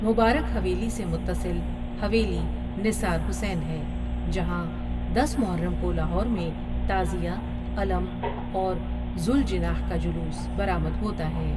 مبارک حویلی سے متصل حویلی نثار حیسن ہے جہاں دس محرم کو لاہور میں تعزیہ، علم اور ذولجناح کا جلوس برآمد ہوتا ہے ۔